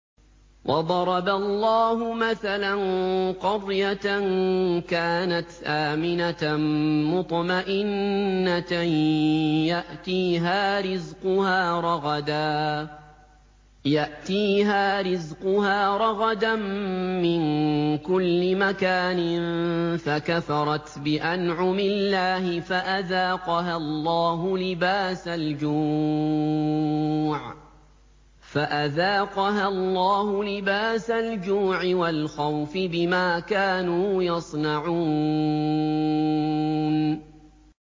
وَضَرَبَ اللَّهُ مَثَلًا قَرْيَةً كَانَتْ آمِنَةً مُّطْمَئِنَّةً يَأْتِيهَا رِزْقُهَا رَغَدًا مِّن كُلِّ مَكَانٍ فَكَفَرَتْ بِأَنْعُمِ اللَّهِ فَأَذَاقَهَا اللَّهُ لِبَاسَ الْجُوعِ وَالْخَوْفِ بِمَا كَانُوا يَصْنَعُونَ